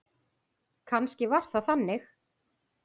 Kannski var það þannig.